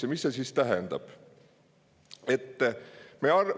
Ja mis see siis tähendab?